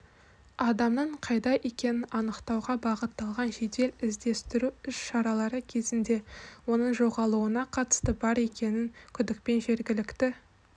адамның қайда екенін анықтауға бағытталған жедел-іздестіру іс-шаралары кезінде оның жоғалуына қатысы бар деген күдікпен жергілікті